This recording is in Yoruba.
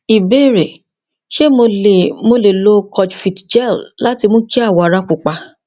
ìbéèrè ṣé mo lè mo lè lo kojivit gel láti mú kí awọ ara pupa